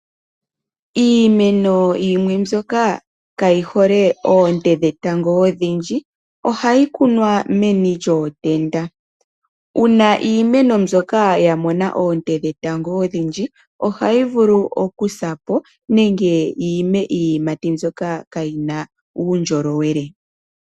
Iimeno yimwe mbyoka kaayihole oonte dhetango odhindji, ohayi kunwa meni lyootenda, uuna iimeno mbyoka ya mono oonte dhetango odhindji, ohayi vulu oku sa po nenge yi i me iiyimati mbyoka kaayina uundjolowele.